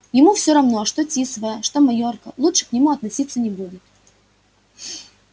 ему всё равно что тисовая что майорка лучше к нему относиться не будут